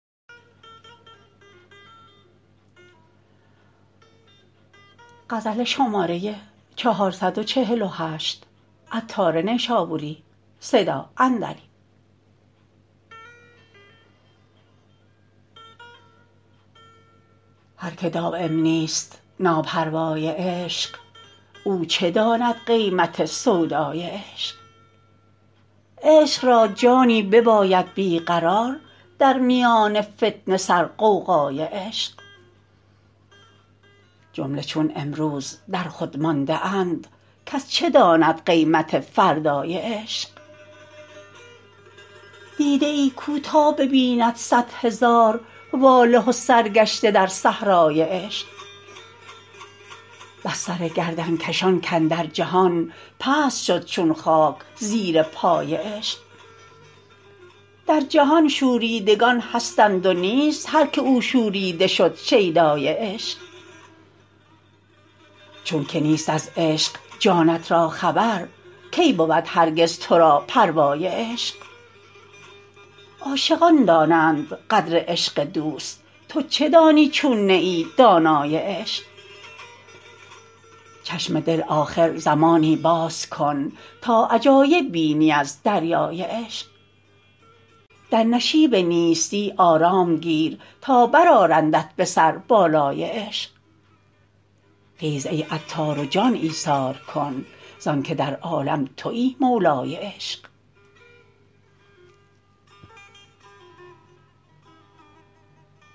هر که دایم نیست ناپروای عشق او چه داند قیمت سودای عشق عشق را جانی بباید بیقرار در میان فتنه سر غوغای عشق جمله چون امروز در خود مانده اند کس چه داند قیمت فردای عشق دیده ای کو تا ببیند صد هزار واله و سرگشته در صحرای عشق بس سر گردنکشان کاندر جهان پست شد چون خاک زیرپای عشق در جهان شوریدگان هستند و نیست هر که او شوریده شد شیدای عشق چون که نیست از عشق جانت را خبر کی بود هرگز تو را پروای عشق عاشقان دانند قدر عشق دوست تو چه دانی چون نه ای دانای عشق چشم دل آخر زمانی باز کن تا عجایب بینی از دریای عشق در نشیب نیستی آرام گیر تا برآرندت به سر بالای عشق خیز ای عطار و جان ایثار کن زانکه در عالم تویی مولای عشق